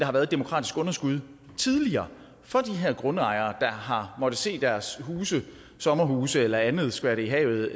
har været demokratisk underskud tidligere for de her grundejere der har måttet se deres huse sommerhuse eller andet skvatte i havet